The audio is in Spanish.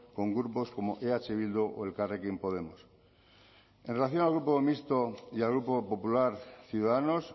con grupos como eh bildu o elkarrekin podemos en relación al grupo mixto y al grupo popular ciudadanos